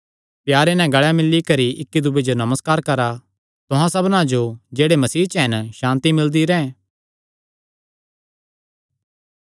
प्यारे नैं गल़े मिल्ली करी इक्की दूये जो नमस्कार करा तुहां सबना जो जेह्ड़े मसीह च हन सांति मिलदी रैंह्